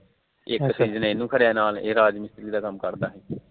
ਇੱਕ ਸੀਜਨ ਇਹਨੂੰ ਘਲਿਆ ਨਾਲ ਇਹ ਰਾਜ ਮਿਸਤਰੀ ਦਾ ਕੰਮ ਕਰਦਾ